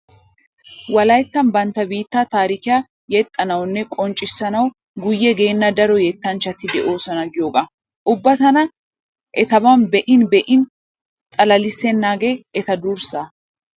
Wolayttan bantta biittaa taarikiya yexxanawunne qonccissanawu guyye geenna daro yettanchchati de'oosona giyoogaa. Ubba tana eatban be'in be'in xalalissennaagee eta durssaa.